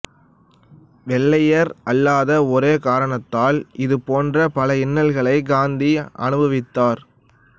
வெள்ளையர் அல்லாத ஒரே காரணத்தால் இது போன்று பல இன்னல்களை காந்தி அனுபவித்தார்